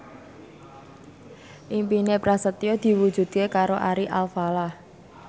impine Prasetyo diwujudke karo Ari Alfalah